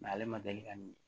ale ma deli ka min ye